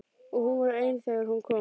Og hún var ein þegar hún kom.